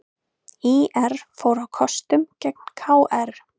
ÍR fór á kostum gegn KR